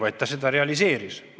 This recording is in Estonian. Seda ülesannet ta ka täitis.